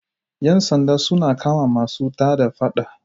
Yan sanda sun kama masu tada Faɗa.